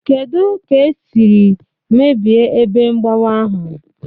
Kedu ka e siri mebie ebe mgbawa ahụ?